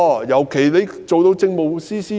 尤其是，她曾擔任政務司司長。